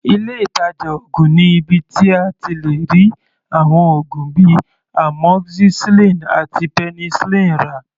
Ilé ìtàjà oògùn ni ibi tí a ti lè rí àwọn oògùn bíi Amoxicillin àti Penicillin rà.